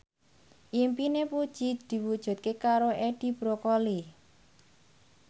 impine Puji diwujudke karo Edi Brokoli